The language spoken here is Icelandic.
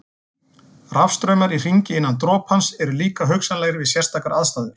Rafstraumar í hringi innan dropans eru líka hugsanlegir við sérstakar aðstæður.